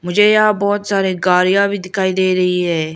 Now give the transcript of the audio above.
मुझे यहां बहोत सारे गाड़ियां भी दिखाई दे रही हैं।